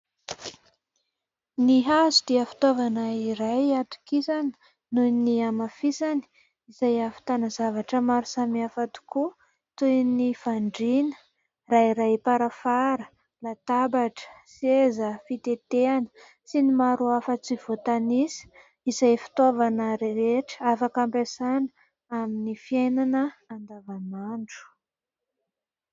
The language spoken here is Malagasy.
Ny hazo dia fitaovana iray atokisana nohon'ny amafisany izay havitana zavatra maro samihafa tokoa toy ny fandriana rairaim-parafara, latabatra, seza, fitetehana sy ny maro hafa tsy voatanisa izay fitaovana rehetra afaka ampiasaina amin'ny fiainana andavamandro.